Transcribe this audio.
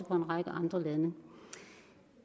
for en række andre lande